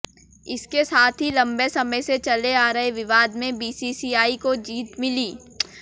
इसके साथ ही लंबे समय से चले आ रहे विवाद में बीसीसीआई को जीत मिली